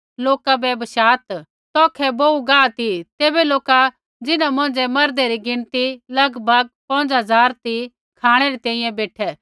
यीशुऐ बोलू लोका बै बशात् तौखै बोहू गाह ती तैबै लोका जिन्हा मौंझ़ै मर्दे री गिणती लगभग पौंज़ झ़ार ती खाँणै री तैंईंयैं बेठै